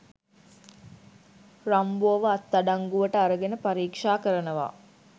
රම්බෝව අත් අඩංගුවට අරගෙන පරික්ෂා කරනවා.